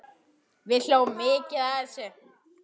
Við hlógum mikið að þessu.